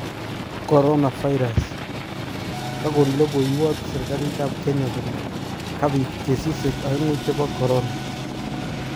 CoronaVirus: kagon logoiwat serigalit ap kenya kole kapiit kesisiek aengu chepo Korona